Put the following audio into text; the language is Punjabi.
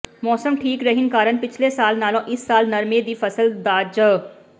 ਮੌਸਮ ਠੀਕ ਰਹਿਣ ਕਾਰਨ ਪਿਛਲੇ ਸਾਲ ਨਾਲੋਂ ਇਸ ਸਾਲ ਨਰਮੇ ਦੀ ਫਸਲ ਦਾ ਝ